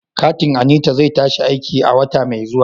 Katin Anita zai tashi aiki a wata mai zuwa.